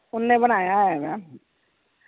ਓਨੇ ਬਣਾਇਆ ਹੇਗਾ